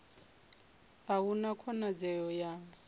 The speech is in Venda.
a hu na khonadzeo ya